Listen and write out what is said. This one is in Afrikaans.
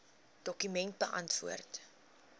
dokument beantwoord